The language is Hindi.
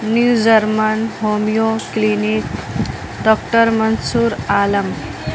new German homeo clinic doctor Mansoor Alam--